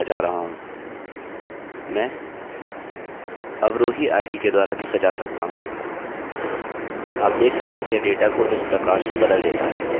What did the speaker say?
मैं अवरोही id के द्वारा भी सजा सकता हूँ आप देख सकते हैं कि यह डेटा को इस प्रकार से बदल देता है